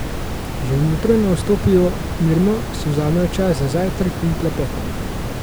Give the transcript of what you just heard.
Že v jutro naj vstopijo mirno, si vzamejo čas za zajtrk in klepet.